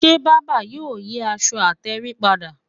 Ṣé bàbá yóò yí aṣọ àtèrìn padà?